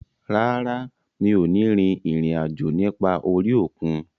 Rárá, mi ò ní rin ìrìn àjò nípa orí òkun